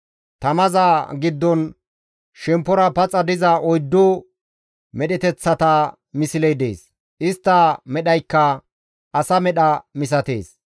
Tamaza giddon shemppora paxa diza oyddu medheteththata misley dees; istta medhaykka asa medha misatees.